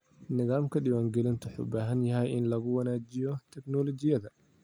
Nidaamka diiwaangelinta wuxuu u baahan yahay in lagu wanaajiyo tignoolajiyada.